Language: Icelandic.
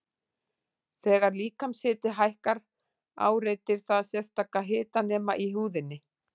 Þegar líkamshiti hækkar áreitir það sérstaka hitanema í húðinni.